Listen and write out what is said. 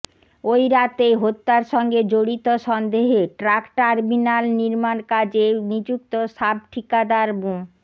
ওই রাতেই হত্যার সঙ্গে জড়িত সন্দেহে ট্রাক টার্মিনাল নির্মাণ কাজে নিযুক্ত সাব ঠিকাদার মো